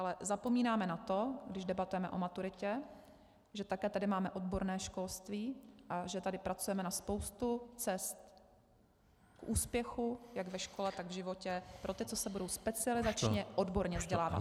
Ale zapomínáme na to, když debatujeme o maturitě, že také tady máme odborné školství a že tady pracujeme na spoustu cest k úspěchu jak ve škole, tak v životě pro ty, co se budou specializačně odborně vzdělávat.